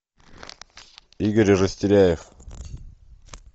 игорь растеряев